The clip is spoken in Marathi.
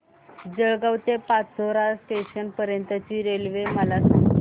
जळगाव ते पाचोरा जंक्शन पर्यंतची रेल्वे मला सांग